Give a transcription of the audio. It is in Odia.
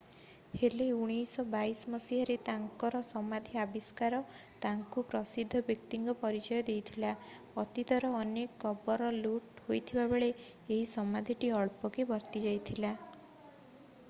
ହେଲେ 1922 ମସିହାରେ ତାଙ୍କର ସମାଧି ଆବିଷ୍କାର ତାଙ୍କୁ ଜଣେ ପ୍ରସିଦ୍ଧ ବ୍ୟକ୍ତିଙ୍କ ପରିଚୟ ଦେଇଥିଲା ଅତୀତର ଅନେକ କବର ଲୁଟ ହୋଇଥିବାବେଳେ ଏହି ସମାଧିଟି ଅଳ୍ପକେ ବର୍ତ୍ତିଯାଇଥିଲା